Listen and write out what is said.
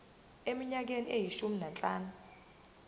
eminyakeni eyishumi nanhlanu